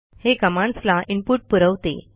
हे कमांडस् ला इनपुट पुरवते